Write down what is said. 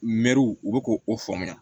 Mɛruw u bɛ k'o faamuya